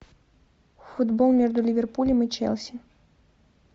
футбол между ливерпулем и челси